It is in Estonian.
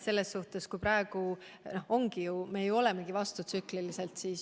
Selles mõttes, et praegu me ju käitumegi vastutsükliliselt.